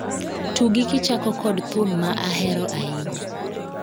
Tugi kichako kod thum ma ahero ahinya